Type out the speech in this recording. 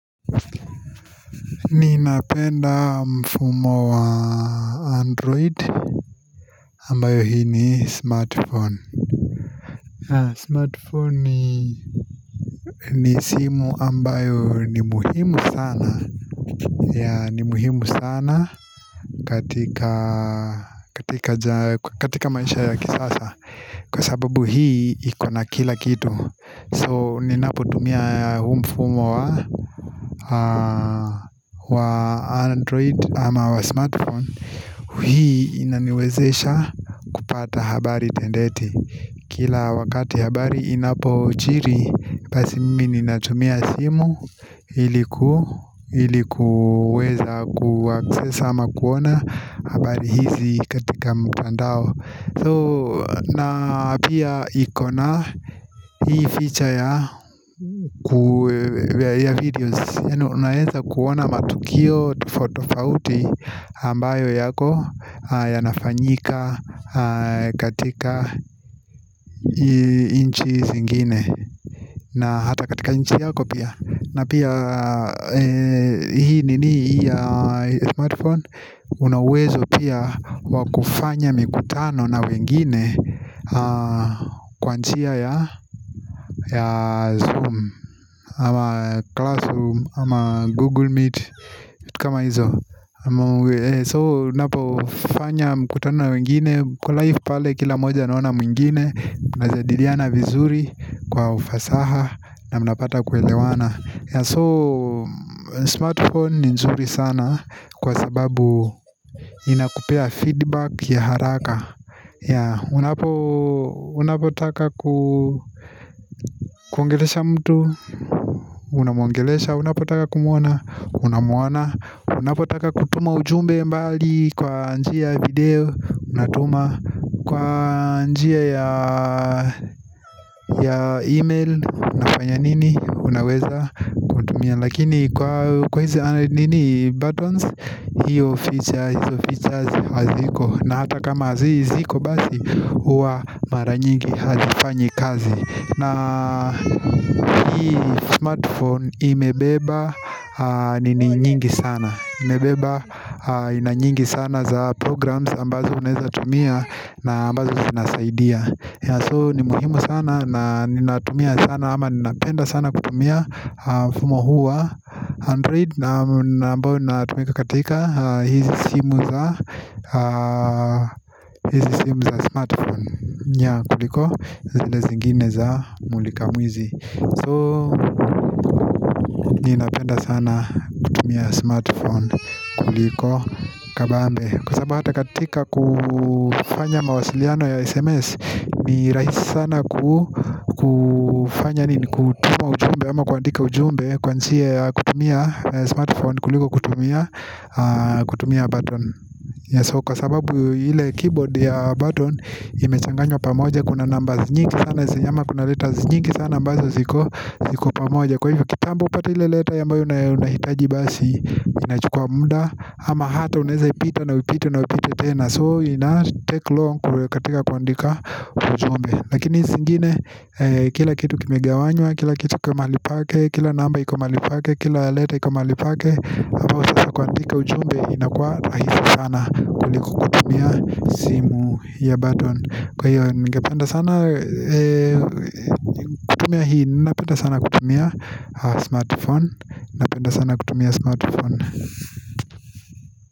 Ninapenda mfumo wa android ambayo hii ni smartphone. Smartphone ni ni simu ambayo ni muhimu sana, yeah, ni muhimu sana katika, katika, katika maisha ya kisasa. Kwa sababu hii iko na kila kitu so ninaputumia huu mfumo wa, wa android ama wa smartphone hii inaniwezesha kupata habari tendete. Kila wakati habari inapojiri basi mimi ninatumia simu ili ku Ili kuweza kuaccess ama kuona habari hizi katika mtandao. So, na pia iko na hii feature ya videos, yaani unaweza kuona matukio tofauti tofauti ambayo yako yanafanyika katika nchi zingine na hata katika nchi yako pia. Na pia hii nini ya smartphone una uwezo pia wa kufanya mikutano na wengine kwa njia ya Zoom ama Classroom, ama Google Meet, vitu kama hizo. So unapofanya mkutano na wengine mko live pale kila mmoja anaona mwingine Mnajadiliana vizuri kwa ufasaha na mnapata kuelewana. So smartphone ni nzuri sana kwa sababu inakupea feedback ya haraka Unapo, unapotaka ku, kuongelesha mtu unamwongelesha. Unapotaka kumwona Unamwona, unapotaka kutuma ujumbe mbali kwa njia ya video, unatuma. Kwa njia ya email unafanya nini, unaweza kutumia. Lakini kwa hizo nini, buttons hiyo feature, hizo features haziko. Na hata kama zi, ziko basi huwa mara nyingi hazifanyi kazi. Na hii smartphone imebeba ni nyingi sana. Imebeba aina nyingi sana za programs ambazo unaeza tumia na ambazo zinasaidia. So ni muhimu sana na ninatumia sana ama ninapenda sana kutumia mfumo huu wa Android na ambayo inatumika katika hizi simu za, hizi simu za smartphone Yeah, kuliko zile zingine za mulika mwizi. So, ninapenda sana kutumia smartphone kuliko kabambe. Kwa sababu hata katika kufanya mawasiliano ya SMS ni rahisi sana kufanya nini, kutuma ujumbe ama kuandika ujumbe kwa njia ya kutumia smartphone kuliko kutumia kutumia ya button. Kwa sababu ile keyboard ya button imechanganywa pamoja. Kuna numbers nyingi sana, ama kuna letters nyingi sana ambazo ziko pamoja. Kwa hivyo kitambo upate ile letter ambayo unahitaji basi inachukua muda. Ama hata unaeza ipita na uipite na uipite tena. So ina take long katika kuandika ujumbe. Lakini hizi zingine kila kitu kimegawanywa, kila kitu iko mahali pake, kila namba iko mahali pake. Kila letter iko mahali pake. Hivyo sasa kuandika ujumbe inakua rahisi sana kuliko kutumia simu ya button. Kwa hiyo ningependa sana kutumia hii, napenda sana kutumia Smartphone.